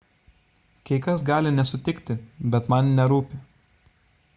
kai kas gali nesutikti bet man nerūpi